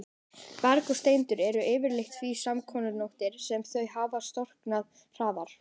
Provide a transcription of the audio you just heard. Berg og steindir eru yfirleitt því smákornóttari sem þau hafa storknað hraðar.